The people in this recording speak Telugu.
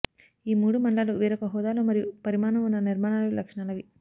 ఈ మూడు మండలాలు వేరొక హోదాలో మరియు పరిమాణం ఉన్న నిర్మాణాలు లక్షణాలని